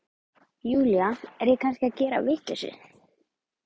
Júlía, er ég kannski að gera vitleysu?